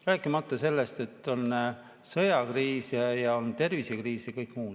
Rääkimata sellest, et on sõjakriis ja on tervisekriis ja kõik muu.